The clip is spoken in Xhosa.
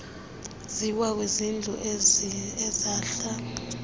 ziwa kwizintlu ezahl